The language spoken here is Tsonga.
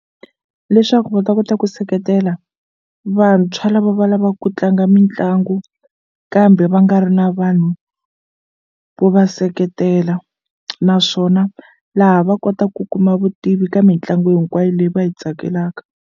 Leswaku va ta kota ku seketela vantshwa lava va lavaku ku tlanga mitlangu kambe va nga ri na vanhu vo va seketela naswona laha va kota ku kuma vutivi ka mitlangu hinkwayo leyi va yi tsakelaka.